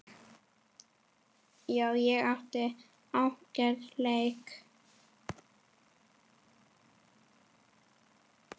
Já, ég átti ágætan leik.